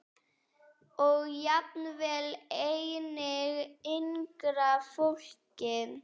Og jafnvel einnig yngra fólki.